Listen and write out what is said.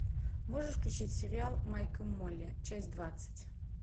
можешь включить сериал майк и молли часть двадцать